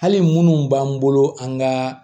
Hali minnu b'an bolo an ka